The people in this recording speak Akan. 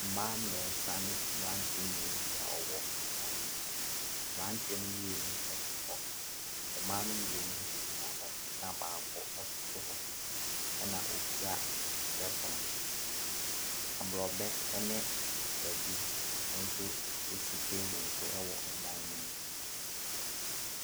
Mmaa mmiɛnsa ne mmeranteɛ mmienu bi a wɔwɔ dan mu, mmeranteɛ ne mmienu te hɔ, mmaa ne mmienu nso gyina hɔ na baako koto hɔ na okita twerɛpono. Aborɔbɛ ne kwadu nso si table so wɔ dan ne mu.